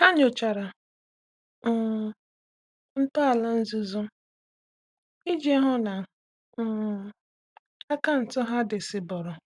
Há nyòchàrà um ntọala nzuzo iji hụ́ na um akaụntụ ha dị́ sị́bọ̀rọ̀.